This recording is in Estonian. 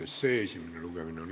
Istungi lõpp kell 20.49.